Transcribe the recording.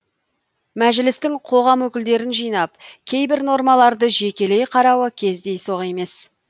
мәжілістің қоғам өкілдерін жинап кейбір нормаларды жекелей қарауы кездейсоқ емес